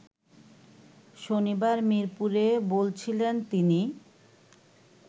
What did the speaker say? শনিবার মিরপুরে বলছিলেন তিনি